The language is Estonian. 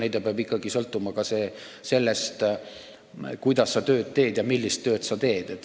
Ei, pension peab ikkagi sõltuma ka sellest, kuidas sa tööd teed ja millist tööd sa teed.